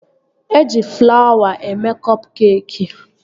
Eji flawa eme kọp keekị